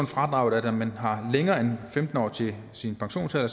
fradraget at når man har længere end femten år til sin pensionsalder